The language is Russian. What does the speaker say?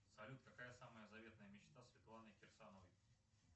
салют какая самая заветная мечта светланы кирсановой